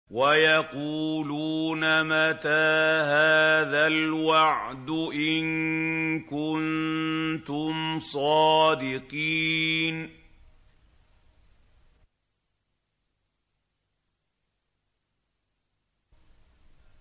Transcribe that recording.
وَيَقُولُونَ مَتَىٰ هَٰذَا الْوَعْدُ إِن كُنتُمْ صَادِقِينَ